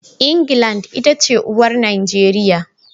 England ita ce uwar Najeriya.